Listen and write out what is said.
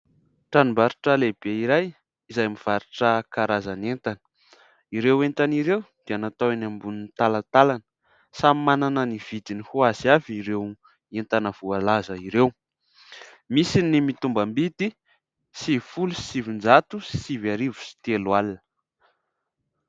Tranombarotra lehibe iray izay mivarotra karazana entana, ireo entana ireo dia natao eny ambonin'ny talantalana, samy manana ny vidiny hoazy avy ireo entana voalaza ireo, misy ny mitombam-bidy sivy folo sy sivinjato sivy arivo sy telo alina.